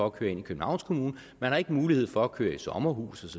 at køre ind i københavns kommune man har ikke mulighed for at køre i sommerhus